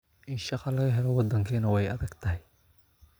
In shaqo laga helo waddankeena waa ay adag tahay